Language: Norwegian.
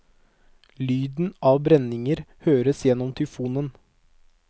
Lyden av brenninger høres gjennom tyfonen.